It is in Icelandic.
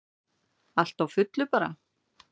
Allt á fullu bara.